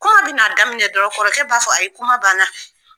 Kuma bɛna daminɛ dɔrɔn kɔrɔ b'a fɔ ayi kuma banna